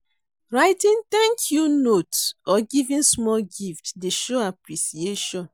Writing 'thank you' note or giving small gift dey show appreciation.